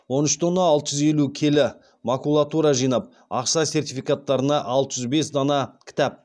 он үш тонна алты жүз елу келі макулатура жинап ақша сертификаттарына алты жүз бес дана кітап